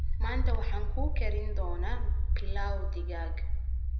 Maanta waxaan kuu karin doonaa pilaf digaag.